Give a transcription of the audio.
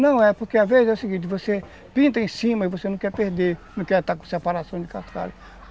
Não, é porque às vezes é o seguinte, você pinta em cima e você não quer perder, não quer estar com separação de cascalho.